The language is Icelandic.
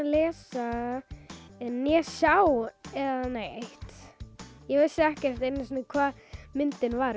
lesa eða sjá neitt ég vissi ekkert einu sinni um hvað myndin var